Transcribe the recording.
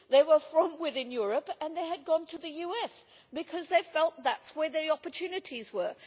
They were from Europe and they had gone to the US, because they felt that was where the opportunities were.